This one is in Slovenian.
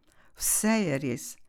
Vse je res!